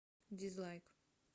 дизлайк